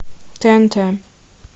тнт